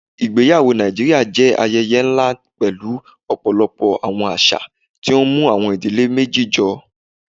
Ìgbẹyàwọ̀ Nàìjíríà jẹ́ ayẹyẹ̀ nlá pẹ̀lú ọ̀pọ̀lọpọ̀ awọn àṣà, tí ó mú awọn ìdílé méjì jọ.